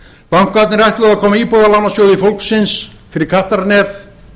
bankarnir ætluðu að koma íbúðalánasjóði fólksins fyrir kattarnef